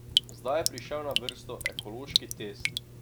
Zdaj je prišel na vrsto ekološki test.